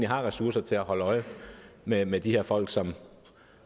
har ressourcer til at holde øje med med de her folk som